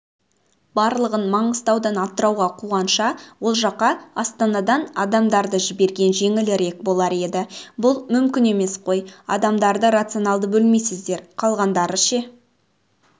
барлығын маңғыстаудан атырауға қуғанша ол жаққа астанадан адамдарды жіберген жеңілірек болар еді бұл мүмкін емес қой адамдарды рационалды бөлмейсіздер қалғандары ше